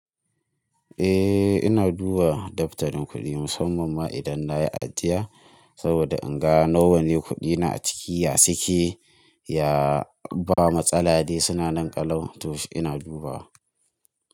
Eh, ina duba daftarin kuɗi musamman ma idan na yi ajiya saboda in ga nawa ne kuɗina a ciki. Ya suke ya ba matsala dai suna nan ƙalau, to shi ina dubawa.